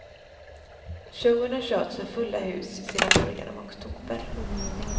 Showen har körts för fulla hus sedan början av oktober.